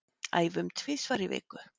Æfum tvisvar í viku